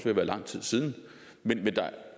at være lang tid siden men der